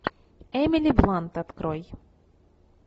эмили блант открой